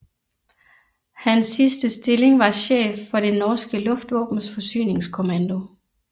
Hans sidste stilling var chef for det norske luftvåbens forsyningskommando